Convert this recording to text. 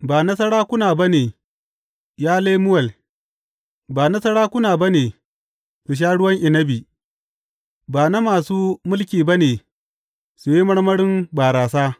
Ba na sarakuna ba ne, ya Lemuwel, ba na sarakuna ba ne su sha ruwan inabi, ba na masu mulki ba ne su yi marmarin barasa,